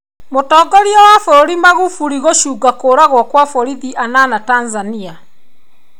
Mũtongoria wa bũrũri Magufuli gũcũnga kũragwo kwa borithi anana Tanzania.